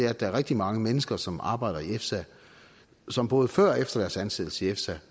at der er rigtig mange mennesker som arbejder i efsa som både før og efter deres ansættelse i efsa